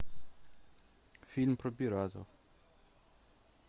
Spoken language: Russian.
фильм про пиратов